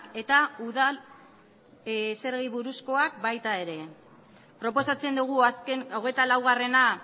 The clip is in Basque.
eta udal zergei buruzkoak baita ere proposatzen dugu azken hogeita laugarrena